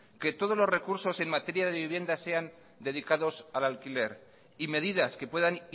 que todos los recursos en materia de vivienda sean dedicados al alquiler y medidas que puedan